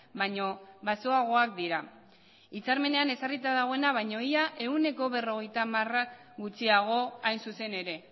baino baxuagoak dira hitzarmenean ezarrita dagoena baino ia ehuneko berrogeita hamara gutxiago hain zuzen ere